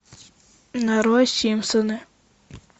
нарой симпсоны